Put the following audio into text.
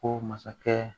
Ko masakɛ